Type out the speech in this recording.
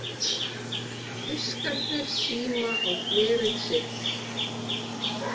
Fiskarnir stíma á glerið sitt.